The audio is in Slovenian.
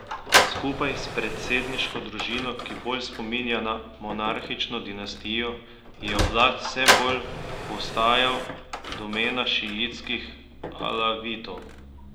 Skupaj s predsedniško družino, ki bolj spominja na monarhično dinastijo, je oblast vse bolj postajal domena šiitskih Alavitov.